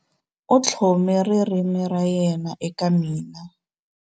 U tlhome ririmi ra yena eka mina.